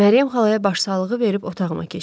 Məryəm xalaya başsağlığı verib otağıma keçdim.